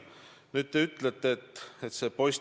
Nüüd, Urmas Reitelmann on valitud Riigikogusse.